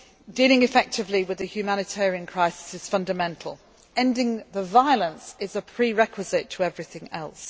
this week. Dealing effectively with the humanitarian crisis is fundamental, ending the violence is a prerequisite to everything